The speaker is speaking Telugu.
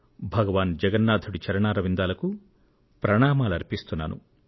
భగవాన్ జగన్నాథుడి చరణారవిందాలకు ప్రణామాలు అర్పిస్తున్నాను